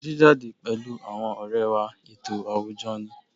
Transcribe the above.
Jíjáde pẹ̀lú àwọn ọ̀rẹ́ wá ètò àwùjọ ni